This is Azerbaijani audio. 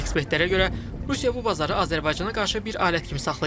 Ekspertlərə görə Rusiya bu bazarı Azərbaycana qarşı bir alət kimi saxlayır.